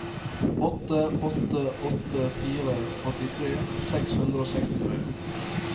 åtte åtte åtte fire åttitre seks hundre og sekstitre